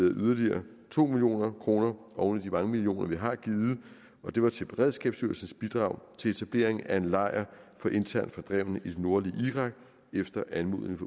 yderligere to million kroner oven i de mange millioner vi har givet og det var til beredskabsstyrelsens bidrag til etablering af en lejr for internt fordrevne i det nordlige irak efter anmodning